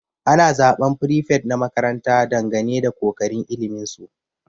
Ana zaban prefet na makaranta dangane da kokarin ilimin su.